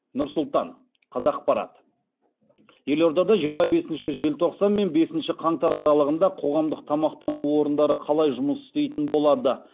нұр сұлтан қазақпарат елордада жиырма бесінші желтоқсан мен бесінші қаңтар аралығында қоғамдық тамақтану орындары қалай жұмыс істейтін болады